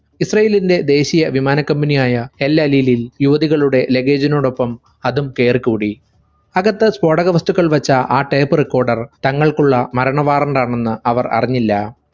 ഇസ്രാഈലിന്റെ ദേശീയ വിമാന company യായ എൽഎൽ ലിനിൽ യുവതികളുടെ luggage നോടൊപ്പം അതും കേറിക്കൂടി. അകത്തു സ്ഫോടകവസ്തുക്കൾ വെച്ച ആ tape recorder തങ്ങൾക്കുള്ള മരണ warrant ആണെന്ന് അവർ അറിഞ്ഞില്ല.